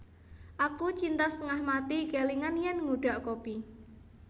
Aku cinta setengah mati kelingan yen ngudhak kopi